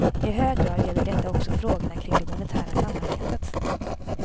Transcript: I hög grad gäller detta också frågorna kring det monetära samarbetet.